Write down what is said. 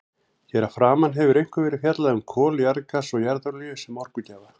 Hér að framan hefur einkum verið fjallað um kol, jarðgas og jarðolíu sem orkugjafa.